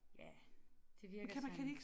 Ja det virker sådan